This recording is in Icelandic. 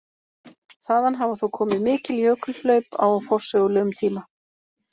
Þaðan hafa þó komið mikil jökulhlaup á forsögulegum tíma.